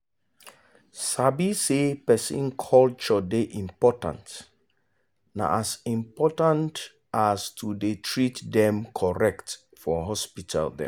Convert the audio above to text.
sabi say person culture dey important na as important as to dey treat dem correct for hospital dem.